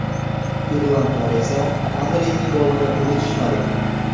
Irlandlar esa Anrining golini unutishmadi.